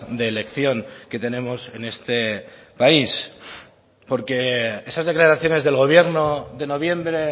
de elección que tenemos en este país porque esas declaraciones del gobierno de noviembre